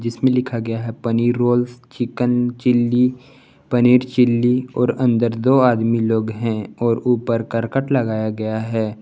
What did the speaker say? जिसमे लिखा गया है paneer roll chicken chilli paneer chilli और अंदर दो आदमी लोग हैं और ऊपर करकट लगाया गया है।